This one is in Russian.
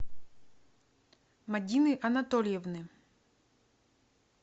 мадины анатольевны